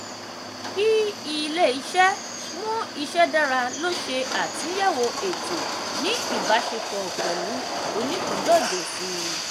kí ilé-iṣẹ́ mú ìṣe dára lò ṣe àtúnyẹ̀wò ètò ní ìbáṣepọ̀ pẹ̀lú onípìńdọ̀jẹ̀ síi